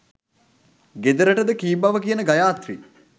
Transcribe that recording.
ගෙදරටද කී බව කියන ගයාත්‍රී